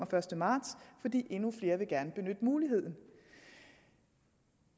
første marts fordi endnu flere gerne vil benytte muligheden